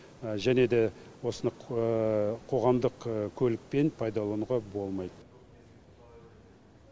және де осыны қоғамдық көлікпен пайдалануға болмайды